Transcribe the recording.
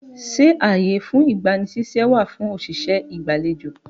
Ṣé ààyè fún ìgbani ṣíṣẹ́ wà fún òṣìṣẹ́ ìgbàlejò?